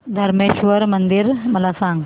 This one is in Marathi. धरमेश्वर मंदिर मला सांग